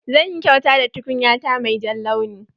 Zan yi kyauta da tukunya ta mai jan launi.